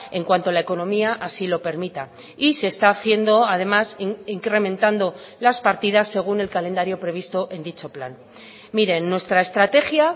en cuanto a la economía así lo permita y se está haciendo además incrementando las partidas según el calendario previsto en dicho plan miren nuestra estrategia